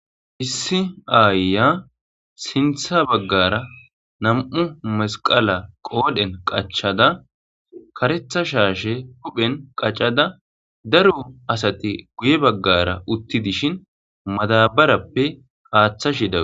issi aayya sintha baggara nam7u masqala qoodhen qachada karetha shaashe huphen qaccada daro asati guye baggara utti dishin madabarappe aaththashidaa